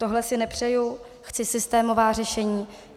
Tohle si nepřeju, chci systémová řešení.